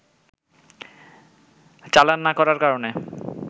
চালান না করার কারণে